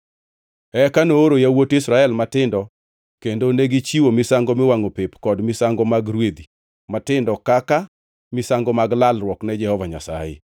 Eka nooro yawuot Israel matindo kendo negichiwo misango miwangʼo pep kod misango mag rwedhi matindo kaka misango mag lalruok ne Jehova Nyasaye.